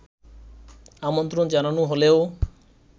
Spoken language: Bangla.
আমন্ত্রণ জানানো হলেও